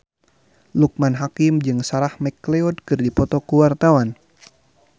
Loekman Hakim jeung Sarah McLeod keur dipoto ku wartawan